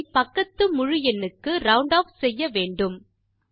எண்ணை பக்கத்து முழு எண்ணுக்கு ரவுண்ட் ஆஃப் செய்ய வேண்டும்